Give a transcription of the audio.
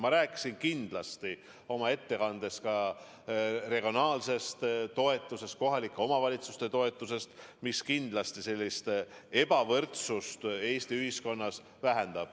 Ma rääkisin kindlasti oma ettekandes ka regionaalsest toetusest, kohalike omavalitsuste toetusest, mis kindlasti vähendab ebavõrdsust Eesti ühiskonnas.